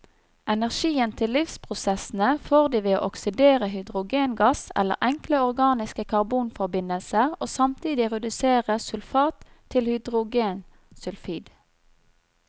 Energien til livsprosessene får de ved å oksidere hydrogengass eller enkle organiske karbonforbindelser, og samtidig redusere sulfat til hydrogensulfid.